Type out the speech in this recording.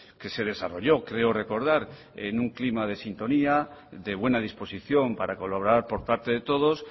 que se desarrolló creo recordar en un clima de sintonía de buena disposición para colaborar por parte de todos